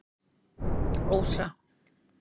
Ósa